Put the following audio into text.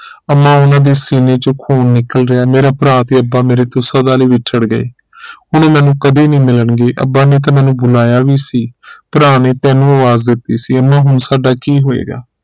ਅੰਮਾ ਉਹਨਾਂ ਦੇ ਸੀਨੇ ਚੋ ਖੂਨ ਨਿਕਲ ਰਿਹਾ ਅੰਮਾ ਮੇਰਾ ਭਰਾ ਤੇ ਅੱਬਾ ਮੇਰੇ ਤੋਂ ਸਦਾ ਲਈ ਵਿਛੜ ਗਏ ਹੁਣ ਮੈਨੂੰ ਕਦੇ ਨਹੀਂ ਮਿਲਣਗੇ ਅੱਬਾ ਨੇ ਤਾ ਮੈਨੂੰ ਬੁਲਾਇਆ ਵੀ ਸੀ ਭਰਾ ਨੇ ਤੈਨੂੰ ਆਵਾਜ਼ ਦਿਤੀ ਸੀ ਅੰਮਾ ਹੁਣ ਸਾਡਾ ਕੀ ਹੋਏਗਾ